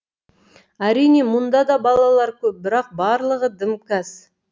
әрине мұнда да балалар көп бірақ барлығы дімкәс